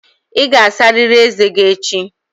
Ị ga-asarịrị ezé gị echi!